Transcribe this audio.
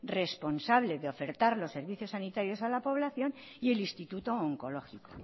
responsable de ofertar los servicios sanitarios a la población y el instituto oncológico